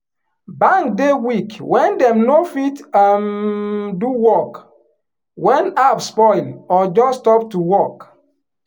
bank dey weak wen dem no fit um do work wen app spoil or just stop to work.